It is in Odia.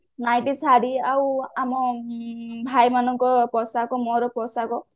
nighty ଶାଢୀ ଆଉ ଆମ ଭାଇ ମାନଙ୍କ ପୋଷାକ ମୋର ପୋଷାକ